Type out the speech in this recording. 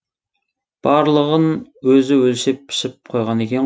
барлығын өзі өлшеп пішіп қойған екен